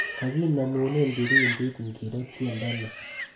Kaginemunen kipindit ngiro tyendo ni